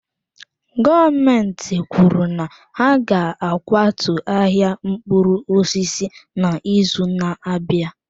Gọọmentị kwuru na ha ga-akwatu ahịa mkpụrụ osisi n'izu na-abịa.